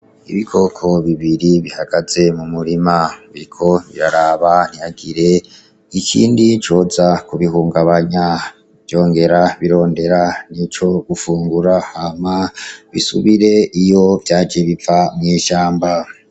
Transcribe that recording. Ibikoko bibiri bihagaze mu murima biriko biraraba ntihagire ikindi coza ku bihungabanya vyongera birondera nico gufungura hama bisubire iyo vyaje biva mw'ishamba.